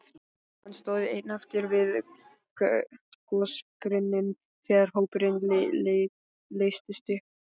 Hann stóð einn eftir við gosbrunninn þegar hópurinn leystist upp.